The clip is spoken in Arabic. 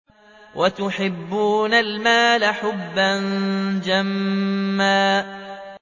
وَتُحِبُّونَ الْمَالَ حُبًّا جَمًّا